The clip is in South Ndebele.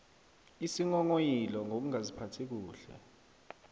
isinghonghoyilo ngokungaziphathi kuhle